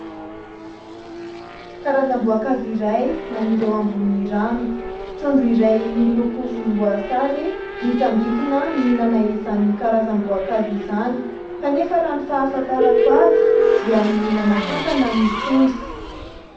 Karazam-boankazo iray maniry eo ambonin'ny rano. Trondro iray miloko volomboasary mitsambikina mihinana izany karazam-boankazo izany, kanefa raha ny fahafantarako azy dia mihinana kankana ny trondro.